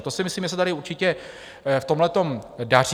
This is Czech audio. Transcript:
A to si myslím, že se tady určitě v tomhletom daří.